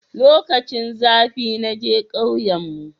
lokacin zafi naje kauyen mu